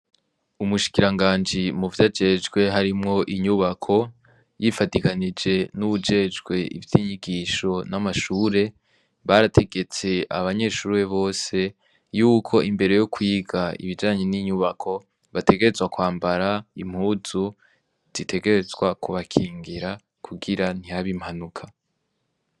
Umushikiranganje muvyajejwe harimwo inyubako yifadikanije n'uwujejwe ivy'inyigisho n'amashure, barategetse abanyeshure bose yuko imbere yo kwiga ibijanye n'inyubako bategerezwa kwambara impuzu zitegerezwa kubakingira kugira ntihabe impanuka.